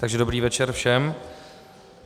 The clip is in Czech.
Takže dobrý večer všem.